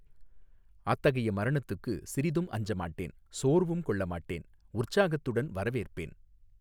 அத்தகைய மரணத்துக்கு சிறிதும் அஞ்ச மாட்டேன் சோர்வும் கொள்ள மாட்டேன் உற்சாகத்துடன் வரவேற்பேன்.